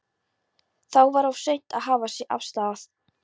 Þá var of seint að hafa sig af stað.